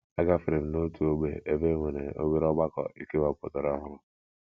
Agafere m n’otu ógbè ebe e nwere obere ọgbakọ e kewapụtara ọhụrụ.